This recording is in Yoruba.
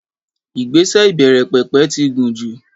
Ìgbésẹ̀ ìbẹ̀rẹ̀pẹ̀pẹ̀ ti gùn jù.